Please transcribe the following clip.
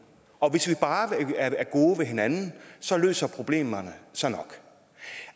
og hvis vi bare er gode mod hinanden løser problemerne sig nok